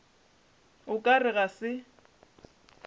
o ka re ga se